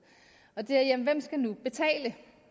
og det er hvem skal nu betale